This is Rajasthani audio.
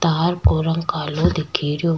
तार को रंग कालो दिखे रियो।